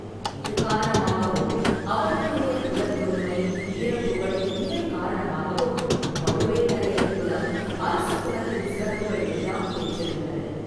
இது காரணமாகவும், அவர்களுடைய குலத்தொன்மை, வீரப்புகழ் இவை காரணமாகவும் பழுவேட்டரையர் குலம் அரச குலத்தின் சிறப்புகள் எல்லாம் பெற்றிருந்தது.